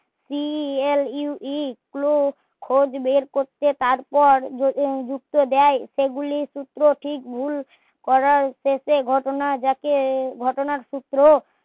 clue clue খোঁজ বের করতে তারপর ঢুকতে দেয় সেগুলির সূত্র ঠিক ভুল করার উদেশ্যে ঘটনার যাকে ঘটনার সূত্র